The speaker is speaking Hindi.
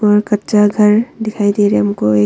और कच्चा घर दिखाई दे रहे हमको एक।